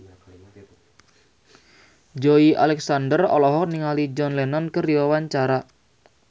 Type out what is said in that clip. Joey Alexander olohok ningali John Lennon keur diwawancara